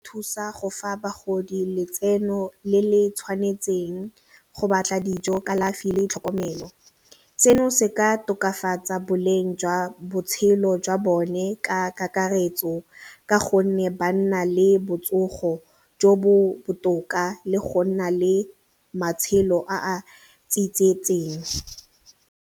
thusa go fa bagodi letseno le le tshwanetseng, go batla dijo kalafi le tlhokomelo. Seno se ka tokafatsa boleng jwa botshelo jwa bone ka kakaretso ka gonne ba nna le botsogo jo bo botoka le go nna le matshelo a a .